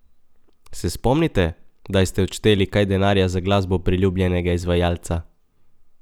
Se spomnite, kdaj ste odšteli kaj denarja za glasbo priljubljenega izvajalca?